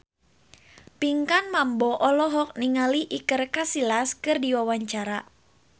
Pinkan Mambo olohok ningali Iker Casillas keur diwawancara